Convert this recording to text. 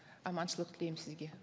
аманшылық тілеймін сізге